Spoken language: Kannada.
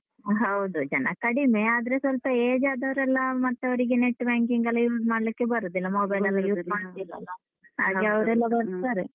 ಆ ಹೌದು ಜನ ಕಡಿಮೆ ಆದ್ರೆ ಸ್ವಲ್ಪ age ಆದವ್ರೆಲ್ಲ ಮತ್ತೆ ಅವರಿಗೆ net banking ಎಲ್ಲ use ಮಾಡ್ಲಿಕ್ಕೆ ಬರುದಿಲ್ಲ ಮಾಡುದಿಲ್ಲಲ್ಲ. ಹಾಗೆ ಬರ್ತಾರೆ.